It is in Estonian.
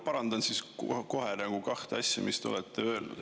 Parandan kohe kahte asja, mis te olete öelnud.